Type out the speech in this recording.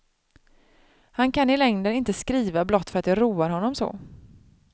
Han kan i längden inte skriva blott för att det roar honom så.